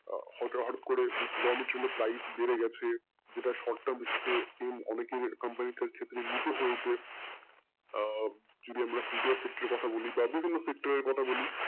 হঠাৎ করে raw material বেড়ে গেছে এটা shor term basis অনেকেই company এর ক্ষেত্রে আহ যদি আমরা two tier sectoer এর কথা বলি বা বিভিন্ন sector কথা বলি